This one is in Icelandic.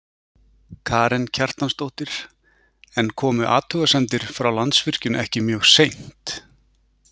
Karen Kjartansdóttir: En komu athugasemdir frá Landsvirkjun ekki mjög seint?